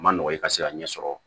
A ma nɔgɔn i ka se ka ɲɛ sɔrɔ